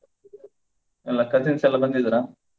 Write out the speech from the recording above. ಎಲ್ಲಾ cousins ಎಲ್ಲಾ ಬಂದಿದ್ರಾ?